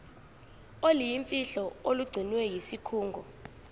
oluyimfihlo olugcinwe yisikhungo